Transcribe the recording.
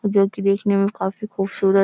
जो की देखने में काफी खुबसूरत --